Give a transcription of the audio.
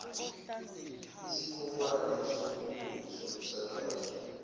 isikhonkwane somkhumbi somsakazo